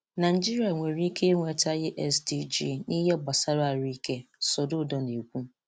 Naịjíríà nwere ike ị̀nwetaghị SDG n’ihe gbasara ahụ̀ ike, Soludo na-ekwù.